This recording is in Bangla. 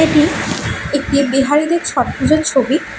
এটি একটি বিহারীদের ছট পূজার ছবি।